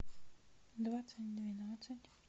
двадцать двенадцать